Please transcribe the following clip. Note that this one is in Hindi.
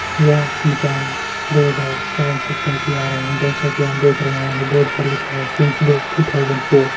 यह दुकान दो हजार चार से चलती आ रही है जैसा की आप देख रहे होंगे बॉर्ड पर लिखा है सीन्स दो टू थाउजेंड फोर ।